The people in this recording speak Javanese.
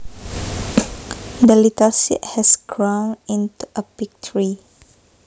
The little seed has grown into a big tree